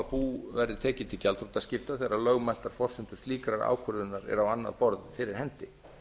bú verði tekið til gjaldþrotaskipta þegar lögmæltar forsendur slíkrar ákvörðunar eru á annað borð fyrir hendi